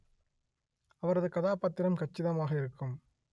அவரது கதாபாத்திரம் கச்சிதமாக இருக்கும்